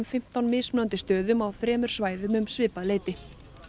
fimmtán mismunandi stöðum á þremur svæðum um svipað leyti